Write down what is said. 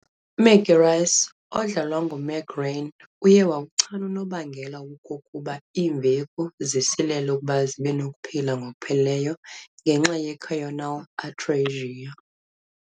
Maggie Rice, odlalwa ngu-Meg Ryan, uye wawuchana unobangela wokokuba iimveku zisilele ukuba zibenokuphila ngokupheleleyo ngenxa ye- choanal atresia.